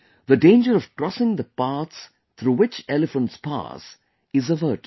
The danger of crossing the paths through which elephants pass is averted